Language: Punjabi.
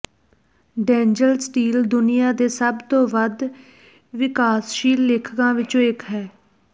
ਡੈਨਯਲ ਸਟੀਲ ਦੁਨੀਆ ਦੇ ਸਭ ਤੋਂ ਵੱਧ ਵਿਕਾਸਸ਼ੀਲ ਲੇਖਕਾਂ ਵਿੱਚੋਂ ਇੱਕ ਹੈ